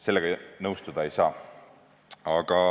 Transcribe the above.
Sellega ma nõustuda ei saa.